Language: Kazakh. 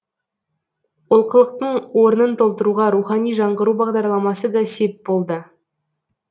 олқылықтың орнын толтыруға рухани жаңғыру бағдарламасы да сеп болды